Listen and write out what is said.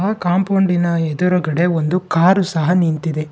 ಆ ಕಾಂಪೌಂಡಿ ನ ಎದುರುಗಡೆ ಒಂದು ಕಾರು ಸಹ ನಿಂತಿದೆ.